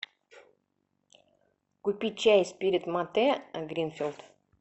купи чай спирит мате гринфилд